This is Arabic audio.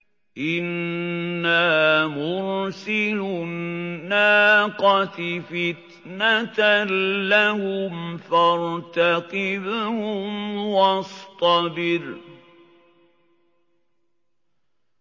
إِنَّا مُرْسِلُو النَّاقَةِ فِتْنَةً لَّهُمْ فَارْتَقِبْهُمْ وَاصْطَبِرْ